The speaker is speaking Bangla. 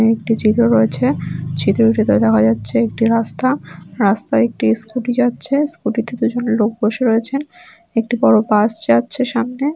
একটি চিত্র রয়েছে | চিত্রটিতে দেখা যাচ্ছে একটি রাস্তা রাস্তায় | একটি স্কুলটি যাচ্ছে | স্কুটি তে দুজন লোক বসে রয়েছেন | একটি বড়ো বাস যাচ্ছে সামনে।